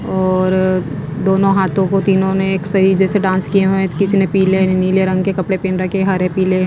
और दोनों हाथों को तीनों ने एक सही जैसे डांस किया है किसी ने पीले नीले रंग के कपड़े पहन रखे हरे पीले--